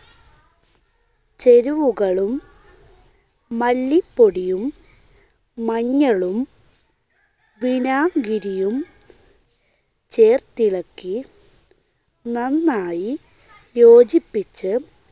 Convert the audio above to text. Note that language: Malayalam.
ചേരുവകളും മല്ലിപ്പൊടിയും മഞ്ഞളും വിനാഗിരിയും ചേർത്തിളക്കി നന്നായി യോജിപ്പിച്ച്